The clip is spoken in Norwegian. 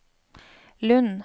Lund